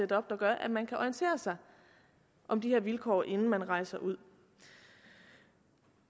der gør at man kan orientere sig om de her vilkår inden man rejser ud